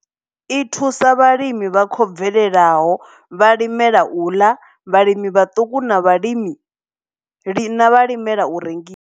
I thusa vhalimi vha khou bvelelaho, vhalimela u ḽa, vhalimi vhaṱuku na vhalimela na vha limela urengi.